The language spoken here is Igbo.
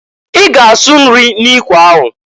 I ga asụ nri n'ikwe ahụ!